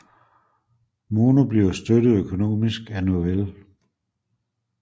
Mono bliver støttet økonomisk af Novell